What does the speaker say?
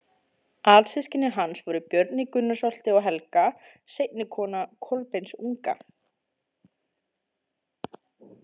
Alsystkini hans voru Björn í Gunnarsholti og Helga, seinni kona Kolbeins unga.